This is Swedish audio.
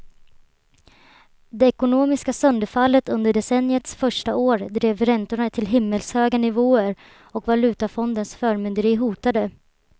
Det ekonomiska sönderfallet under decenniets första år drev räntorna till himmelshöga nivåer och valutafondens förmynderi hotade.